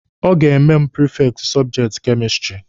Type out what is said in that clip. Ọ ga-eme mụ prifekti sọbjekti kemistiri.